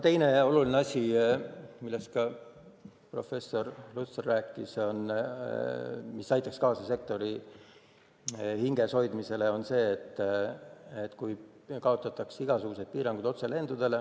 Teine oluline asi, millest ka professor Lutsar rääkis ja mis aitaks kaasa sektori hinges hoidmisele, on see, kui kaotataks igasugused otselendudele seatud piirangud.